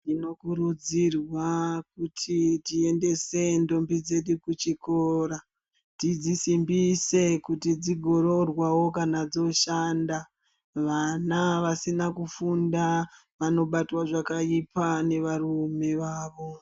Tinokurudzirwa kuti tiendese ntombi dzedu kuchikora tidzisombise kuti dzizoroorwaro dzoshanda vana vasina kufunda vanobatwa zvakaipa nevarume vavo.